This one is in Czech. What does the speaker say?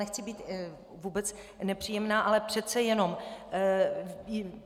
Nechci být vůbec nepříjemná, ale přece jenom.